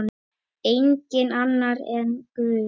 Enginn annar en Guð.